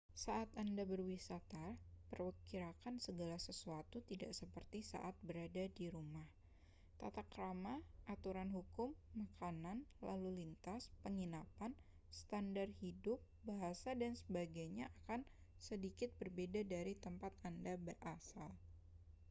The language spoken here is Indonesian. saat anda berwisata perkirakan segala sesuatunya tidak seperti saat berada di rumah tata krama aturan hukum makanan lalu lintas penginapan standar hidup bahasa dan sebagainya akan sedikit berbeda dari tempat anda berasal